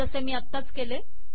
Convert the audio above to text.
जसे मी आत्ताच केले